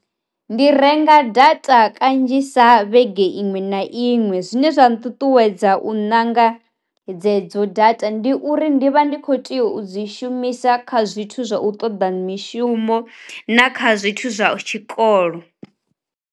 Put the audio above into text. Ndi renga data kanzhisa vhege iṅwe na iṅwe, zwine zwa nṱuṱuwedza u ṋanga dze dzo data ndi uri ndi vha ndi kho tea u dzi shumisa kha zwithu zwa u ṱoḓa mishumo na kha zwithu zwa tshikolo.